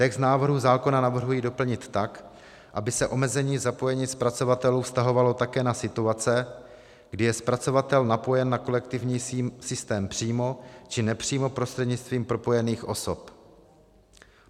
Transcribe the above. Text návrhu zákona navrhuji doplnit tak, aby se omezení zapojení zpracovatelů vztahovalo také na situace, kdy je zpracovatel napojen na kolektivní systém přímo či nepřímo prostřednictvím propojených osob.